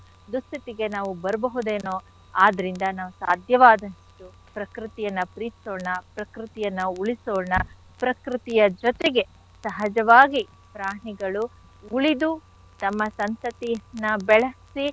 ದುಸ್ಥಿತಿಗೆ ನಾವು ಬರ್ಬಹುದೇನೋ ಆದ್ರಿಂದ ನಾವು ಸಾಧ್ಯವಾದಷ್ಟೂ ಪ್ರಕೃತಿಯನ್ನ ಪ್ರೀತ್ಸೋಣ ಪ್ರಕೃತಿಯನ್ನ ಉಳ್ಸೋಣ ಪ್ರಕೃತಿಯ ಜೊತೆಗೆ ಸಹಜವಾಗಿ ಪ್ರಾಣಿಗಳು ಉಳಿದು ತಮ್ಮ ಸಂತತಿಯನ್ನ ಬೆಳಸಿ.